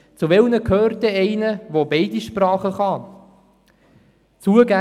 Zu welchen gehört einer, der beide Sprachen spricht?